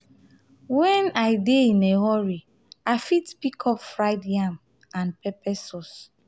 when i dey in a a hurry i fit pick up fried yam and pepper sauce.